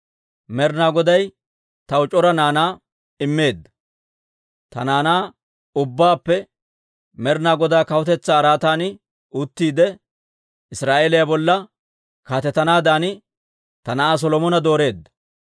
Med'inaa Goday taw c'ora naanaa immeedda; ta naanaa ubbaappe Med'inaa Godaa kawutetsaa araatan uttiide, Israa'eeliyaa bolla kaatetanaadan ta na'aa Solomona dooreedda.